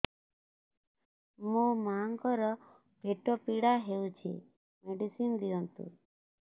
ମୋ ମାଆଙ୍କର ପେଟ ପୀଡା ହଉଛି ମେଡିସିନ ଦିଅନ୍ତୁ